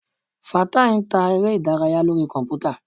Fatai ń ta eré ìdárayá lórí kọ̀npútà.